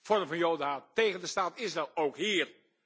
vorm van Jodenhaat tegen de staat Israël, ook hier?